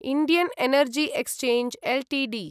Indian Energy Exchange Ltd